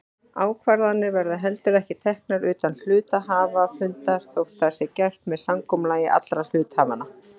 Ákvarðanir verða heldur ekki teknar utan hluthafafundar þótt það sé gert með samkomulagi allra hluthafanna.